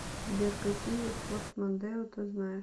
сбер какие форд мондео ты знаешь